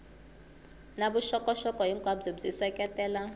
na vuxokoxoko hinkwabyo byi seketela